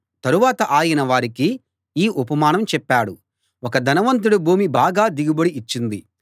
తరువాత ఆయన వారికి ఈ ఉపమానం చెప్పాడు ఒక ధనవంతుడి భూమి బాగా దిగుబడి ఇచ్చింది